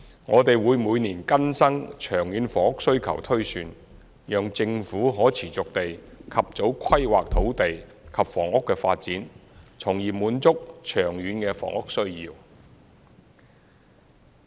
我們會每年更新長遠房屋需求推算，讓政府可持續地及早規劃土地及房屋的發展，從而滿足長遠的房屋需要。